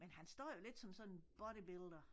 Men han står jo lidt som sådan bodybuilder